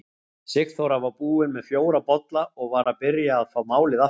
Sigþóra var búin með fjóra bolla og var að byrja að fá málið aftur.